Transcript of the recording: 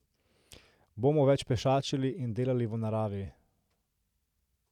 Bomo več pešačili in delali v naravi.